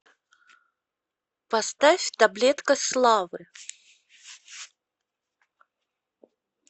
поставь таблетка славы